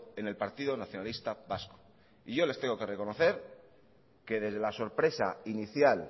en el partido nacionalista vasco y yo les tengo que reconocer que desde la sorpresa inicial